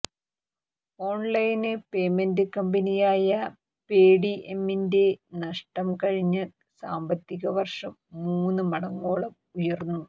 online payment കമ്പനിയായ പേടിഎമ്മിന്റെ നഷ്ടം കഴിഞ്ഞ സാമ്പത്തിക വര്ഷം മൂന്ന് മടങ്ങോളം ഉയര്ന്നു